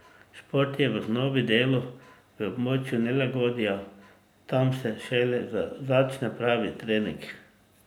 Šport je v osnovi delo v območju nelagodja, tam se šele začne pravi trening.